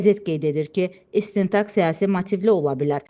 Qəzet qeyd edir ki, istintaq siyasi motivli ola bilər.